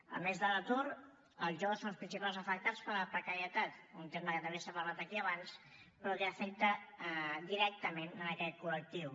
a més de l’atur els joves són els principals afectats per la precarietat un tema que també s’ha parlat aquí abans però que afecta directament aquest col·lectiu